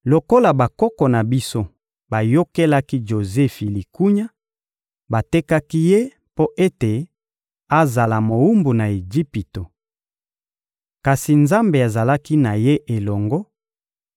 Lokola bakoko na biso bayokelaki Jozefi likunya, batekaki ye mpo ete azala mowumbu na Ejipito. Kasi Nzambe azalaki na ye elongo